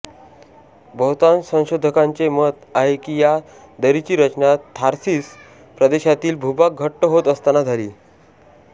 बहुतांश संशोधकांचे मत आहे की या दरीची रचना थार्सिस प्रदेशातील भूभाग घट्ट होत असताना झाली